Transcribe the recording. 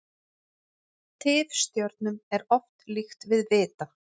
Tifstjörnum er oft líkt við vita.